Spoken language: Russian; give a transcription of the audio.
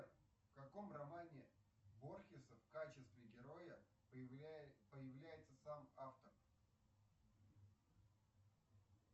в каком романе борхеса в качестве героя появляется сам автор